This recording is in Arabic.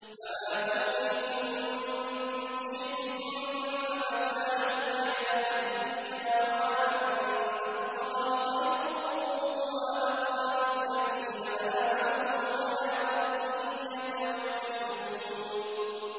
فَمَا أُوتِيتُم مِّن شَيْءٍ فَمَتَاعُ الْحَيَاةِ الدُّنْيَا ۖ وَمَا عِندَ اللَّهِ خَيْرٌ وَأَبْقَىٰ لِلَّذِينَ آمَنُوا وَعَلَىٰ رَبِّهِمْ يَتَوَكَّلُونَ